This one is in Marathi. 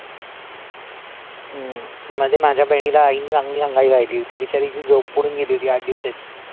हम्म मध्ये माझ्या बहिणीला आईने चांगली अंगाई गायली होती, बिचारीची झोप उडून गेली होती आठ दिवसाची